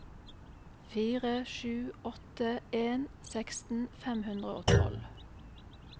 fire sju åtte en seksten fem hundre og tolv